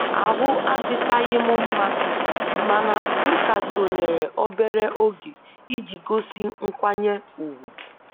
Ahụ adịchaghị m mma mana m ka sonyeere obere oge iji gosi nkwanye ùgwù